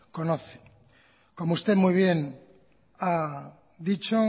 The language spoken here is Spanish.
conocen como usted muy bien ha dicho